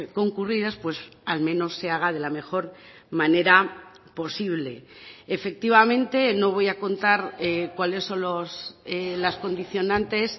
concurridas pues al menos se haga de la mejor manera posible efectivamente no voy a contar cuáles son las condicionantes